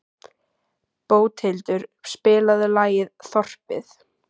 Bóthildur, spilaðu lagið „Þorpið“.